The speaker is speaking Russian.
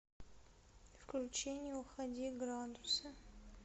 включи не уходи градусы